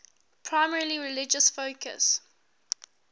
primarily religious focus